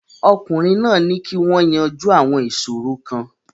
Ọkùnrin náà ní kí wọ́n yanjú àwọn ìṣòro kan.